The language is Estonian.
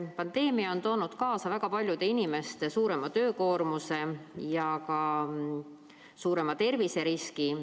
Pandeemia on toonud kaasa väga paljude inimeste suurema töökoormuse ja ka suurema terviseriski.